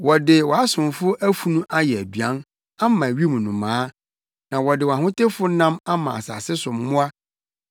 Wɔde wʼasomfo afunu ayɛ aduan ama wim nnomaa, na wɔde wʼahotefo nam ama asase so mmoa.